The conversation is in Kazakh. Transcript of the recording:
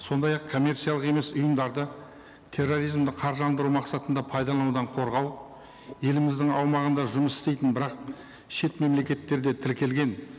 сондай ақ коммерциялық емес ұйымдарды терроризмді қаржыландыру мақсатында пайдаланудан қорғау еліміздің аумағында жұмыс істейтін бірақ шет мемлекеттерде тіркелген